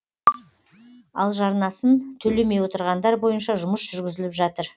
ал жарнасын төлемей отырғандар бойынша жұмыс жүргізіліп жатыр